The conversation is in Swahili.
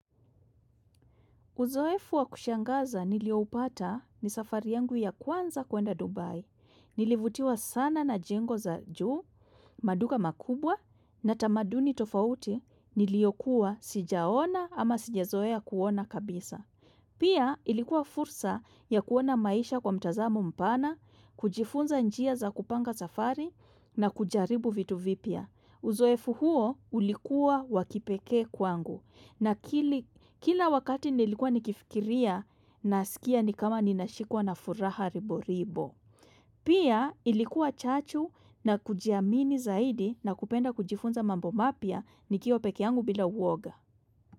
Uzoefu wa kushangaza niliopata ni safari yangu ya kwanza kuenda Dubai. Nilivutiwa sana na jengo za juu, maduka makubwa na tamaduni tofauti niliokuwa sijaona ama sijazoea kuona kabisa. Pia ilikuwa fursa ya kuona maisha kwa mtazamo mpana, kujifunza njia za kupanga safari na kujaribu vitu vipya. Uzoefu huo ulikuwa wakipekee kwangu na kila wakati nilikuwa nikifikiria nasikia ni kama ninashikwa na furaha ribo ribo. Pia ilikuwa chachu na kujiamini zaidi na kupenda kujifunza mambo mapya nikiwa peke yangu bila uoga.